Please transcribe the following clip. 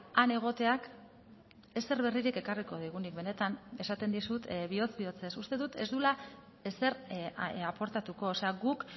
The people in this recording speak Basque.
han egoteak ezer berririk ekarriko digunik benetan esaten dizut bihotz bihotzez uste dut ez duela ezer aportatuko guk